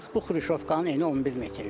Bax bu Xruşovkanın eni 11 metrdir.